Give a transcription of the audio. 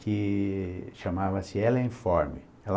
que chamava-se Ellen Form.